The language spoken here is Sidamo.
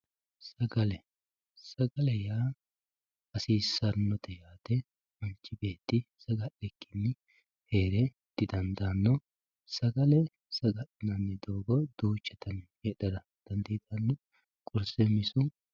Sagale sagale yaa hasisanote manchi neeti saga`likini heere didandaano sagale sagalinani doogo duucha dani no qurse misu.